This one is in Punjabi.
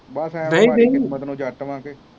ਜੱਟ ਵਾ ਕੇ